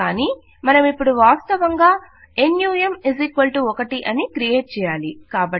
కానీ మనమిపుడు వాస్తవంగా నమ్ 1 అని క్రియేట్ చేయాలి